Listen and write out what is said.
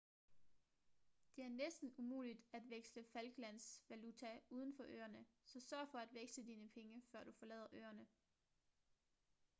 det er næsten umuligt at veksle falklands valuta uden for øerne så sørg for at veksle dine penge før du forlader øerne